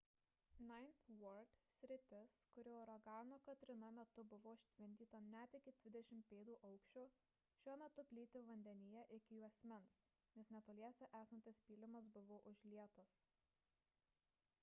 ninth ward sritis kuri uragano katrina metu buvo užtvindyta net iki 20 pėdų aukščio šiuo metu plyti vandenyje iki juosmens nes netoliese esantis pylimas buvo užlietas